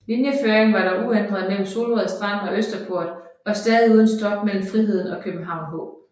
Linjeføringen var dog uændret mellem Solrød Strand og Østerport og stadig uden stop mellem Friheden og København H